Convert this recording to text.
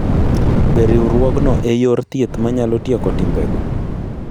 Be riwruogno e yor thieth manyalo tieko timbego?